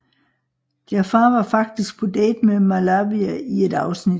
Jafar var faktisk på date med Malavia i et afsnit